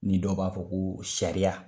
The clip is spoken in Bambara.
Ni dɔ b'a fɔ ko sariya.